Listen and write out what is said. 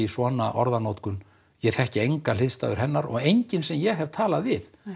svona orðanotkun ég þekki enga hliðstæðu hennar og enginn sem ég hef talað við